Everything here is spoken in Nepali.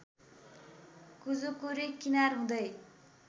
कुजुकुरी किनार हुँदै